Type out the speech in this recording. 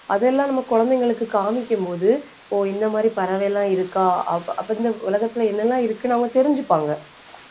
அதெல்லாம் நம்ம குழந்தைங்களுக்கு காமிக்கும் போது ஓ இந்த மாதிரி பறவை எல்லாம் இருக்கா அப்~ அப்ப இந்த உலகத்துல என்னெல்லாம் இருக்குன்னு அவங்க தெரிஞ்சுப்பாங்க.